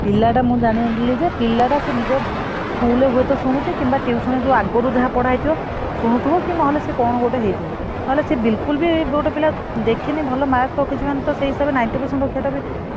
ପିଲାଟା ମୁଁ ଜାଣିଦେଲି ଯେ ପିଲାଟା ସେ ନିଜେ school ରେ ହୁଏ ତ ଶୁଣୁଛି ବା ଆଗରୁ ଯାହା ପଢିଥିଲା tuition ଆଗରୁ ଯାହା ପଢିବା ଶୁଣୁଥିବ ନେହଲେ ସିଏ କଣ ଗୋଟେ ହେଇଥିବ। ନହେଲେ ସେ ବିଲକୁଲ ବି ଗୋଟେ ପିଲା ଦେଖିନି ଭଲ mark ରଖିଛି ମାନେ ସେଇ ହିସାବରେ ninety percent ରଖିବା ଟା ବି।